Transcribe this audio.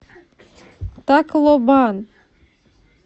таклобан